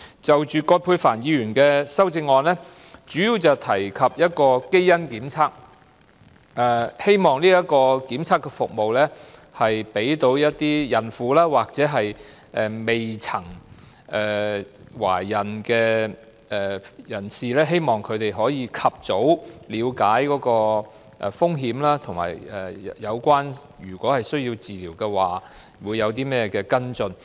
就葛珮帆議員的修正案，主要提及基因檢測，希望檢測的服務讓孕婦或未曾懷孕的人士及早了解胎兒患有罕見疾病的風險，以及如胎兒需要治療，會有何跟進。